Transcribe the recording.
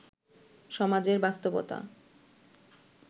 সমাজের বাস্তবতা